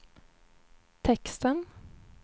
texten